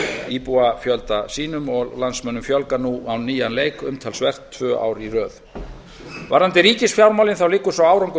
íbúafjölda sínum og landsmönnum fjölgar nú á nýjan leik umtalsvert tvö ár í röð varðandi ríkisfjármálin liggur sá árangur